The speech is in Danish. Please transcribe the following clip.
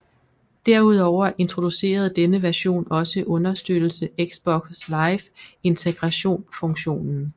Derudover introducerede denne version også understøttelse Xbox Live Integration funktionen